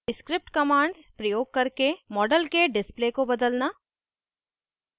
* script commands प्रयोग करके model के display को बदलना